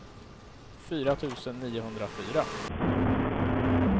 fyra tusen niohundrafyra